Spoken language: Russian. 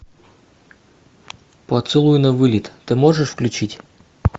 поцелуй на вылет ты можешь включить